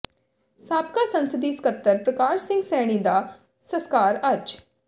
ਸਾਬਕਾ ਸੰਸਦੀ ਸਕੱਤਰ ਪ੍ਰਕਾਸ਼ ਸਿੰਘ ਸੈਣੀ ਦਾ ਸਸਕਾਰ ਅੱਜ